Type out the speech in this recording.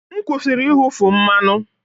M kwụsịrị ịwụfu mmanụ